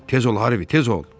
Tez ol Harvi, tez ol!